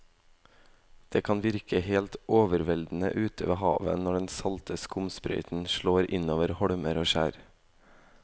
Det kan virke helt overveldende ute ved havet når den salte skumsprøyten slår innover holmer og skjær.